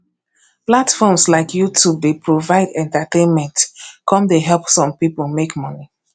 platforms like youtube dey provide entertainment come dey help some people make money